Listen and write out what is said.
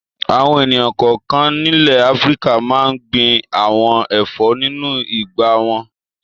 Àwọn ènìyàn kọ̀ọ̀kan nílẹ̀ Áfíríkà máa ń gbin àwọn ẹ̀fọ́ nínú ìgbà wọn.